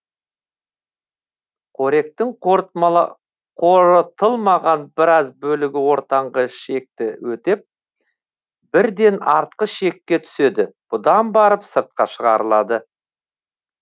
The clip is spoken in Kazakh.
қоректің қорытылмаған біраз бөлігі ортаңғы ішекті өтеп бірден артқы ішекке түседі бұдан барып сыртқа шығарылады